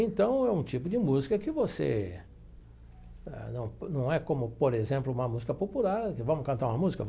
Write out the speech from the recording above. Então, é um tipo de música que você... Eh não não é como, por exemplo, uma música popular, que vamos cantar uma música?